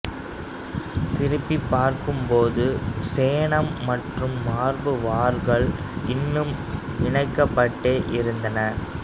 திரும்பி பார்த்தபோது சேணம் மற்றும் மார்பு வார்கள் இன்னும் இணைக்கப்பட்டே இருந்தன